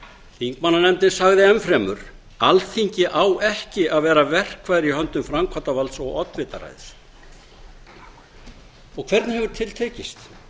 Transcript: þingmannanefndin sagði enn fremur alþingi á ekki að vera verkfæri í höndum framkvæmdarvalds og oddvitaræðis og hvernig hefur til tekist